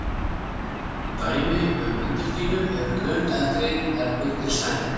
Dæmi um undirdýnu eru mun eldri en um undirsæng.